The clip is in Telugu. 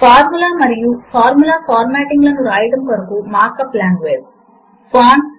ఫార్ములా లను నేర్చుకుంటాము మనము ఈ క్రింది అంశములు నేర్చుకుంటాము లిబ్రేఆఫీస్ మాథ్ అంటే ఏమిటి